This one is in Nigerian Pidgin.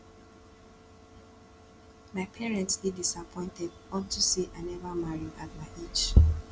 my parents dey disappointed unto say i never marry at my age